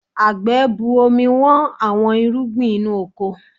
Àgbẹ̀ bu omi Wọ́n àwọn irúgbìn inú oko